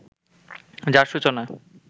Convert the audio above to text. যার সূচনা